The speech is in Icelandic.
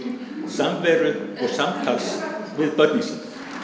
samveru og samtals við börnin sín